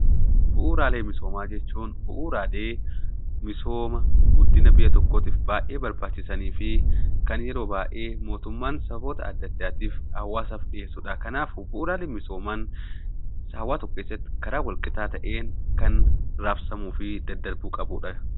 Bu'uraalee misoomaq jechuun bu'uraalee misooma, guddina biyya tokkootiif baay'ee barbaachisan fi kan yeroo baay'ee mootummaan saboora adda addaatiif, hawaasaaf dhiyeessu dha. Kanaafuu bu'uraalee misoomaan hawaasa tokko keessatti karaa wal qixaa ta'een kan raabsamuu fi daddarbuu qabu dha.